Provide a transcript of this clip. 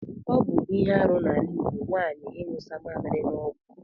Ọbụ ihe arụ na ala igbo nwanyi inyụsa mamili na ọgwụ.